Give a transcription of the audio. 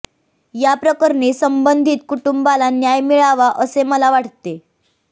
या प्रकरणी संबंधित कुटुंबाला न्याय मिळावा असे मला वाटते